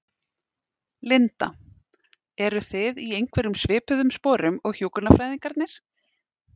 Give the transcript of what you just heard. Linda: Eru þið í einhverjum svipuðum sporum og hjúkrunarfræðingarnir?